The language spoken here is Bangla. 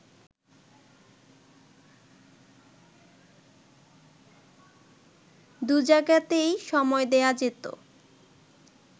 দুজায়গাতেই সময় দেয়া যেত